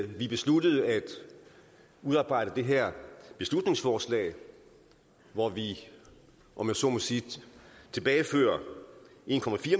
vi besluttede at udarbejde det her beslutningsforslag hvor vi om jeg så må sige tilbagefører en